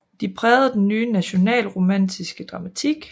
De prægede den ny nationalromantiske dramatik